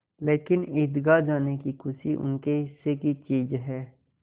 लेकिन ईदगाह जाने की खुशी उनके हिस्से की चीज़ है